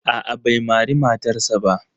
A'a bai mari matarsa ba.